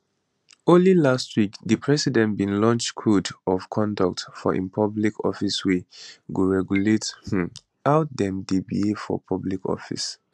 only last week di president bin launchcode of conduct for im public officerswey go regulate um how dem dey behave for public office